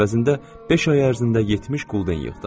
Əvəzində beş ay ərzində 70 qulden yığdım.